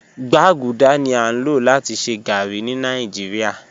Gbaguda ni a lo lati ṣe garri ni Nigeria